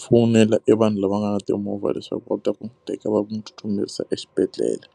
fowunela evanhu lava nga ni timovha leswaku u ta n'wi teka va n'wi tsutsumisa exibedhlele.